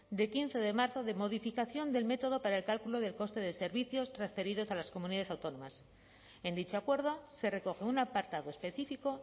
de quince de marzo de modificación del método para el cálculo del coste de servicios transferidos a las comunidades autónomas en dicho acuerdo se recoge un apartado específico